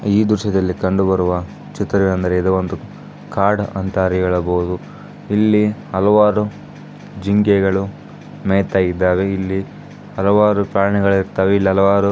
ಈ ದೃಶ್ಯದಲ್ಲಿ ಕಂಡು ಬರುವ ಚಿತ್ರವೇನೆಂದರೆ ಇದು ಒಂದು ಕಾಡ ಅಂತಾ ಹೇಳಬಹುದು. ಇಲ್ಲಿ ಹಲವಾರು ಜಿಂಕೆಗಳು ಮೇಯ್ತಾ ಇದ್ದಾವೆ ಇಲ್ಲಿ ಹಲವಾರು ಪ್ರಾಣಿಗಳು ಇರುತ್ತವೆ. ಇಲ್ಲಿ ಹಲವಾರು --